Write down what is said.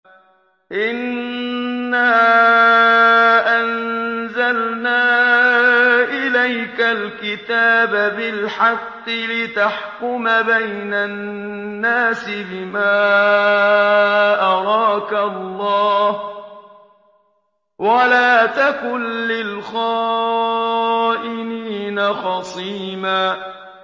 إِنَّا أَنزَلْنَا إِلَيْكَ الْكِتَابَ بِالْحَقِّ لِتَحْكُمَ بَيْنَ النَّاسِ بِمَا أَرَاكَ اللَّهُ ۚ وَلَا تَكُن لِّلْخَائِنِينَ خَصِيمًا